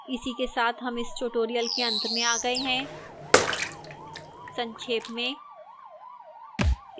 इसी के साथ हम इस tutorial के अंत में आ गए हैं संक्षेप में